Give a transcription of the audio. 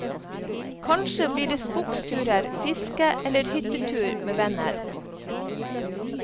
Kanskje blir det skogsturer, fiske, eller hyttetur med venner.